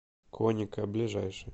коника ближайший